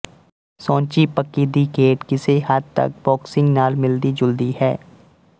ਸੌਂਚੀ ਪੱਕੀ ਦੀ ਖੇਡ ਕਿਸੇ ਹੱਦ ਤੱਕ ਬੋਕਸਿਂਗ ਨਾਲ ਮਿਲਦੀ ਜੁਲਦੀ ਹੈ